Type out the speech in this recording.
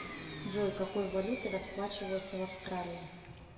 джой какой валютой расплачиваются в австралии